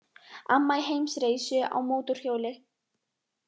Amma í heimsreisu á mótorhjóli